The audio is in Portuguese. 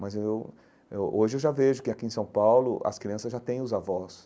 Mas eu eh hoje eu já vejo que aqui em São Paulo as crianças já têm os avós.